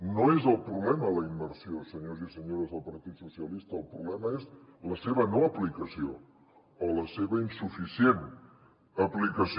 no és el problema la immersió senyors i senyores del partit socialistes el problema és la seva no aplicació o la seva insuficient aplicació